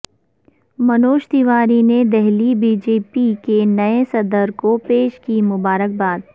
منوج تیواری نے Delhi B J P کے نئے صدر کو پیش کی مبارکباد